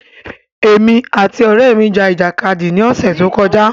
Èmi àti ọrẹ mi ja ìjàkadì ní ọsẹ tó kọjá